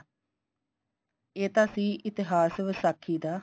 ਇਹ ਤਾਂ ਸੀ ਇਤਿਹਾਸ ਵਿਸਾਖੀ ਦਾ